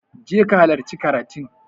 je ka halarci karatun!